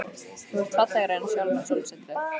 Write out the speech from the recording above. Þú ert fallegri en sjálft sólsetrið.